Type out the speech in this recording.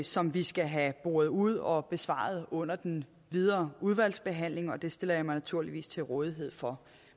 som vi skal have boret ud og besvaret under den videre udvalgsbehandling og det stiller jeg mig naturligvis til rådighed for